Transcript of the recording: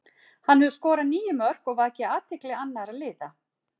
Hann hefur skorað níu mörk og vakið athygli annara liða.